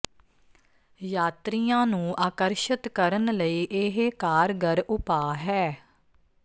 ਯਾਤਰੀਆਂ ਨੂੰ ਆਕਰਸ਼ਤ ਕਰਨ ਲਈ ਇਹ ਕਾਰਗਰ ਉਪਾਅ ਹੈ